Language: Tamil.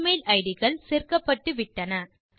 எமெயில் இட் கள் சேர்க்கப்பட்டு விட்டன